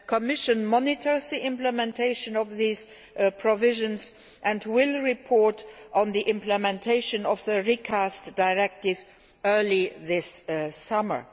The Commission is monitoring the implementation of these provisions and will report on the implementation of the recast directive early this